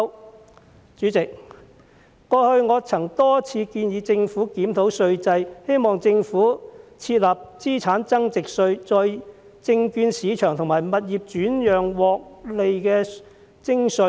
代理主席，過去，我曾多次建議政府檢討稅制，希望政府設立資產增值稅，對證券市場和物業轉讓的獲利徵稅。